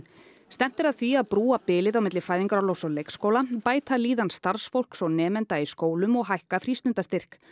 stefnt er að því að brúa bilið milli fæðingarorlofs og leikskóla bæta líðan starfsfólks og nemenda í skólum og hækka frístundastyrk